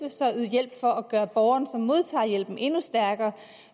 yder hjælp for at gøre borgeren som modtager hjælpen endnu stærkere